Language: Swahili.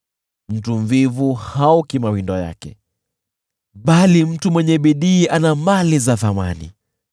Mtu mvivu haoki mawindo yake, bali mtu mwenye bidii ana mali za thamani.